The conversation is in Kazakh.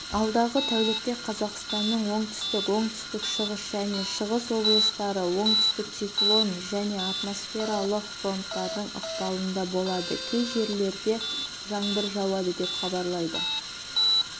алдағы тәулікте қазақстанның оңтүстік оңтүстік-шығыс және шығыс облыстары оңтүстік циклон және атмосфералық фронтардың ықпалында болады кей жерлерде жаңбыр жауады деп хабарлайды